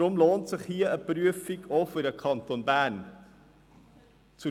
deshalb lohnt sich hier auch für den Kanton Bern eine Prüfung.